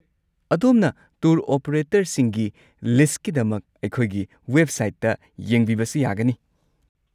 ꯑꯗꯣꯝꯅ ꯇꯨꯔ ꯑꯣꯄꯔꯦꯇꯔꯁꯤꯡꯒꯤ ꯂꯤꯁꯠꯀꯤꯗꯃꯛ ꯑꯩꯈꯣꯏꯒꯤ ꯋꯦꯕꯁꯥꯏꯠꯇ ꯌꯦꯡꯕꯤꯕꯁꯨ ꯌꯥꯒꯅꯤ꯫